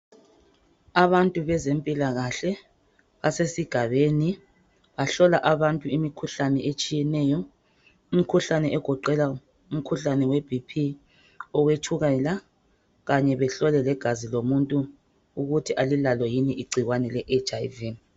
abantu bezempilakhle basesigabeni bahlola abantu imikhuhkane etshiyeneyo imikhuhlane egoqela umkhuhlane we BP owetshukela kanye behlole legazi lomuntu ukuthi alilalo yini igcikwane le HIV